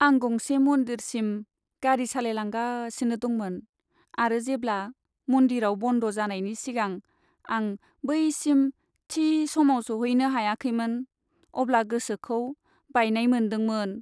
आं गंसे मन्दिरसिम गारि सालायलांगासिनो दंमोन आरो जेब्ला मन्दिराव बन्द' जानायनि सिगां आं बैसिम थि समाव सौहैनो हायाखैमोन अब्ला गोसोखौ बायनाय मोनदोंमोन।